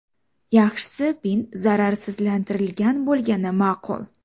Yaxshisi bint zararsizlantirilgan bo‘lgani ma’qul.